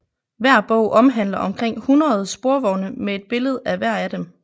Hver bog omhandler omkring hundrede sporvogne med et billede af hver af dem